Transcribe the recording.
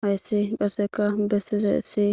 Haysi qaseka besizaysi